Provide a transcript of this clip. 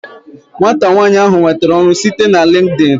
Nwata nwanyi ahu nwetere ọrụ site na LinkedIn